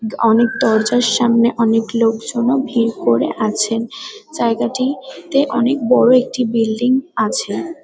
অনেক দরজার সামনে অনেক লোকজনও ভিড় করে আছেন। জায়গাটি-তে অনেক বড়ো একটি বিলডিং আছে--